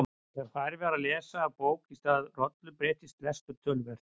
Þegar farið var að lesa af bók í stað rollu breyttist lestur töluvert.